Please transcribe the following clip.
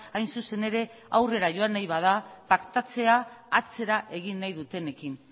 hain zuzen ere aurrera joan nahi bada paktatzea atzera egin nahi dutenekin